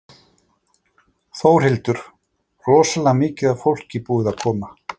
Þórhildur: Rosalega mikið af fólki búið að koma?